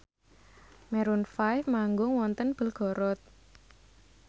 Maroon 5 manggung wonten Belgorod